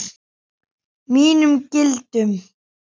Mínum gildum.